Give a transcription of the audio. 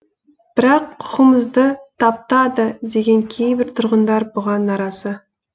бірақ құқығымызды таптады деген кейбір тұрғындар бұған наразы